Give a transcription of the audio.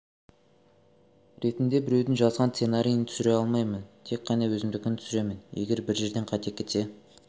ретінде біреудің жазған сценарийін түсіре алмаймын тек қана өзімдікін түсіремін егер бір жерден қате кетсе